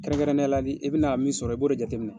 Kɛrɛnkɛrɛnneya ni i bina min sɔrɔ, i b'o de jateminɛ.